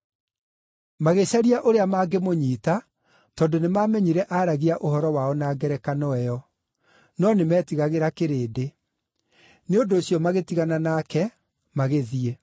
Magĩcaria ũrĩa mangĩmũnyiita tondũ nĩmamenyire aaragia ũhoro wao na ngerekano ĩyo, no nĩmetigagĩra kĩrĩndĩ; nĩ ũndũ ũcio magĩtigana nake, magĩthiĩ.